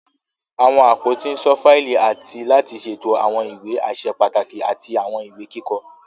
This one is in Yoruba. Àwọn àpótí n ṣọ fáìlì àti láti ṣètò àwọn ìwé aṣẹ pàtàkì àti àwọn ìwé kíkọ.